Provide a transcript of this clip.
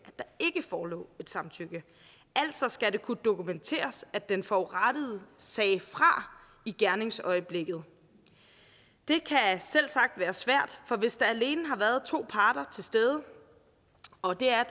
der ikke forelå et samtykke altså skal det kunne dokumenteres at den forurettede sagde fra i gerningsøjeblikket det kan selvsagt være svært for hvis der alene har været to parter til stede og det er